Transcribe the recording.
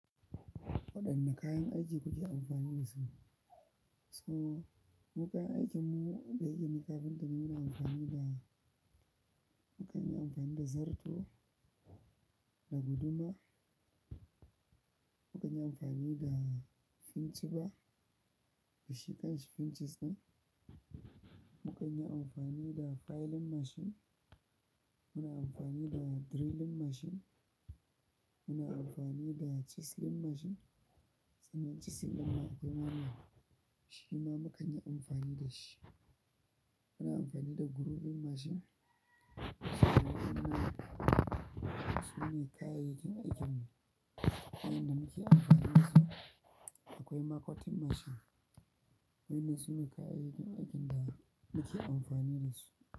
Waɗanne kayan aiki kuke amfani da su? So, mu kayan aikinmu, da yaƙe ni kafinta ne muna amfani da, mu kan yi amfani da zarto, da guduma, mu kan yi amfani da finch bar, shi kanshi finch ɗin, mu kan yi amfani da filing machine, muna amfani da drilling machine, muna amfani da chiseling machine, sannan chiseling mai girma shima mu kanyi amfani da shi. Muna amfani da grooving machine, su ne kayayyakin aikinmu, waɗanda muke amfani da su. Akwai cutting machine, wannan sune kayayyakin aikin da muke amfani da su.